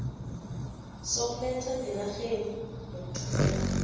sokuletha ngenarheni nokuthumela